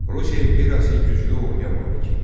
Rusiya imperiyası güclü orduya malik idi.